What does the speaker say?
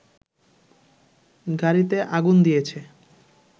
গাড়ীতে আগুন দিয়েছে